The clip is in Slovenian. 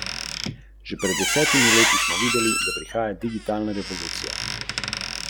Tisto, kar kdo skoplje, si odnese k svoji luknji, in to je njegova mast.